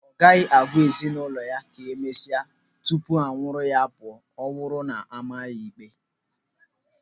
Ọ gaghị agwa ezinụlọ ya ka emesịa tupu ha anwụrụ ya pụọ ma ọ bụrụ na ama ya ikpe.